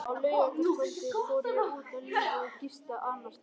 Á laugardagskvöldið fór ég út á lífið og gisti annarsstaðar.